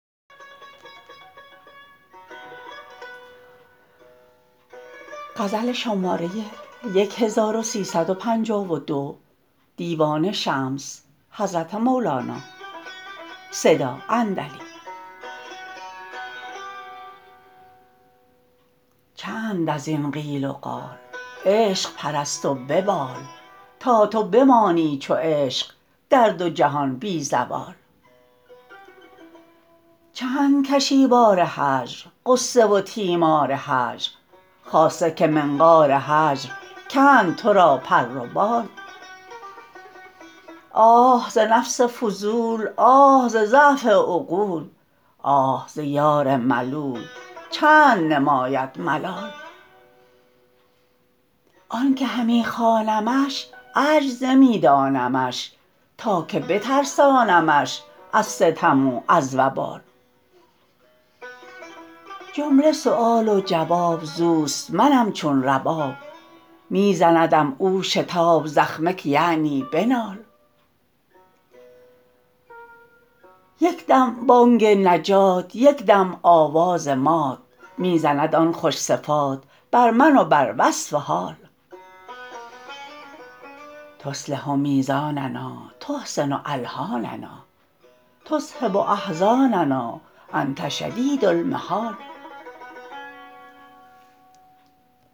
چند از این قیل و قال عشق پرست و ببال تا تو بمانی چو عشق در دو جهان بی زوال چند کشی بار هجر غصه و تیمار هجر خاصه که منقار هجر کند تو را پر و بال آه ز نفس فضول آه ز ضعف عقول آه ز یار ملول چند نماید ملال آن که همی خوانمش عجز نمی دانمش تا که بترسانمش از ستم و از وبال جمله سؤال و جواب زوست منم چون رباب می زندم او شتاب زخمه که یعنی بنال یک دم بانگ نجات یک دم آواز مات می زند آن خوش صفات بر من و بر وصف حال تصلح میزاننا تحسن الحاننا تذهب احزاننا انت شدید المحال